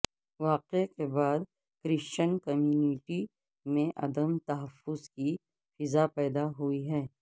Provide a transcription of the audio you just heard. واقعے کے بعد کرسچین کمیونٹی میں عدم تحفظ کی فضا پیدا ہوئی ہے